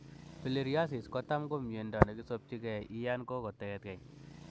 Filariasis ko tam miondo kisopchikeii iya yon koketkei